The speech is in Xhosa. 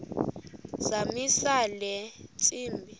zamisa le ntsimbi